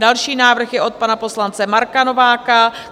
Další návrh je od pana poslance Marka Nováka.